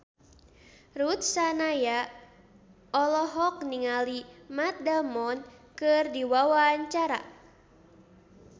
Ruth Sahanaya olohok ningali Matt Damon keur diwawancara